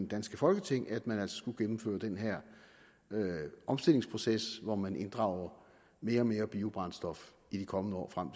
danske folketing at man altså skulle gennemføre den her omstillingsproces hvor man inddrager mere og mere biobrændstof i de kommende år frem